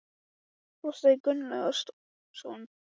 Lár, hvað er á áætluninni minni í dag?